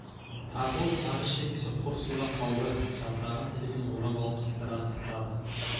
тартылып тақыр шекесі құрысты да қалды жапырағын тілімен орап алып сыдыра сыпырады